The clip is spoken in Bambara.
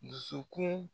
Dusukun